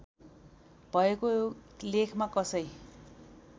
भएको लेखमा कसै